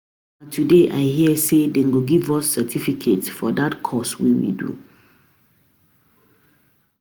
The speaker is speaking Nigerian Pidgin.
um I hear say na today dey go give us um certificate for dat course we do